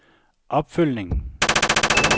opfølgning